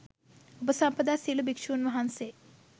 උපසම්පදා සියලු භික්ෂුන් වහන්සේ